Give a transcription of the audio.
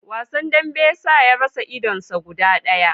Wasan dambe ya sa ya rasa idon ta guda daya